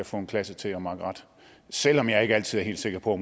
få en klasse til at makke ret selv om jeg ikke altid er helt sikker på